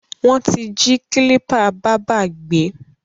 Wọ́n ti jí kílípà bábá gbé.